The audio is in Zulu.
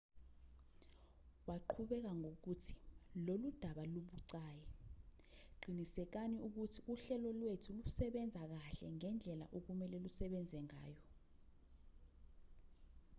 waqhubeka ngokuthi lolu daba lubucayi qinisekani ukuthi uhlelo lwethu lusebenza kahle ngendlela okumelwe lusebenze ngayo